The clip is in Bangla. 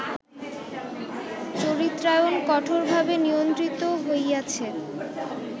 চরিত্রায়ণ কঠোরভাবে নিয়ন্ত্রিত হইয়াছে